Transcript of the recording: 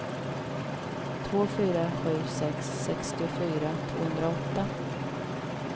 två fyra sju sex sextiofyra tvåhundraåtta